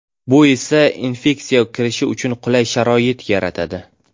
Bu esa infeksiya kirishi uchun qulay sharoit yaratadi.